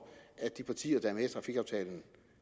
at de partier der i trafikaftalen